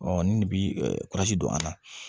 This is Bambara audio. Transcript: ni de bi ɛ kurasi don a la